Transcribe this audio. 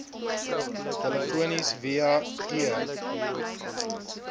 telefonies via e